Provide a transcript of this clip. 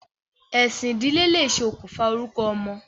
Ẹ̀sìn ìdílé lè ṣe okùnfà orúkọ ọmọ.